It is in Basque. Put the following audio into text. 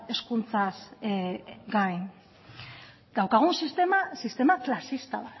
hezkuntzaz gain daukagun sistema sistema klasista